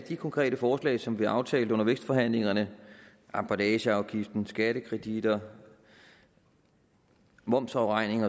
de konkrete forslag som vi aftalte under vækstforhandlingerne emballageafgiften skattekreditter momsafregning